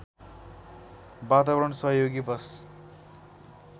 वातावरण सहयोगी बस